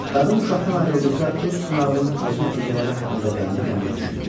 Qadın uşaqdan ayrıldıqda öz sınağının acı nəticələri haqqında qəmli-qəmli düşündü.